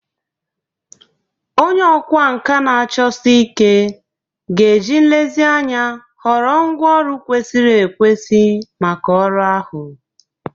Onye ọkwá nkà na-achọsi ike ga-eji nlezianya họrọ ngwá ọrụ kwesịrị ekwesị maka ọrụ ahụ.